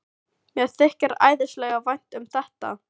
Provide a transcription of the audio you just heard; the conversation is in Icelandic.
Mér þykir æðislega vænt um þetta.